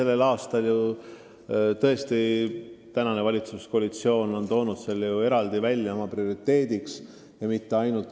Nagu ma ütlesin, tänavu on valitsuskoalitsioon selle eraldi prioriteediks seadnud.